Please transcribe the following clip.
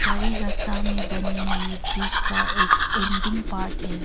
हरे रस्ता में बनी हुई ब्रिज का एक एंडिंग पार्ट है।